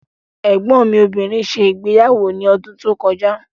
Ẹ̀gbọ́n mi obìnrin ṣe ìgbéyàwó ní ọdún tó kọjá.